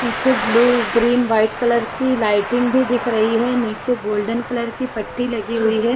पीछे blue green white colour की lighting भी दिख रही है पीछे गोल्डन कलर की पट्टी लगी हुई है।